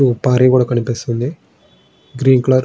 ఓ పహారీగోడ కనిపిస్తోంది.గ్రీన్ కలర్ --